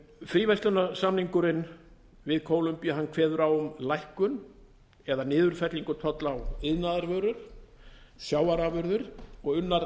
fríverslunarsamningurinn við kólumbíu kveður á um lækkun eða niðurfellingu tolla á iðnaðarvörur sjávarafurðir og unnar